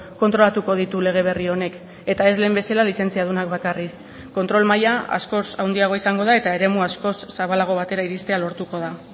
kontrolatuko ditu lege berri honek eta ez lehen bezala lizentziadunak bakarrik kontrol maila askoz handiagoa izango da eta eremu askoz zabalago batera iristea lortuko da